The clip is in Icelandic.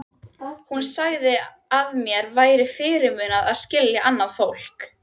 Hún sagði að mér væri fyrirmunað að skilja annað fólk.